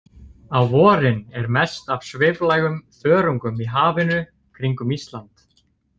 Á vorin er mest af sviflægum þörungum í hafinu kringum Ísland.